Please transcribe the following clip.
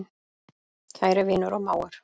Kæri vinur og mágur.